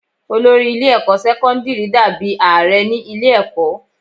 Olórí ilé ẹ̀kọ́ sẹ́kọ́ńdírì dà bí Ààrẹ ní ilé ẹ̀kọ́.